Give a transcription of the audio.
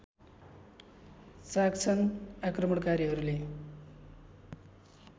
चाख्छन् आक्रमणकारीहरूले